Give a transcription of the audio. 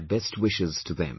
My best wishes to them